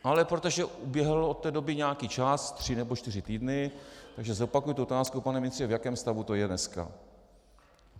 Ale protože uběhl od té doby nějaký čas, tři nebo čtyři týdny, tak zopakuji tu otázku, pane ministře: V jakém stavu to je dneska?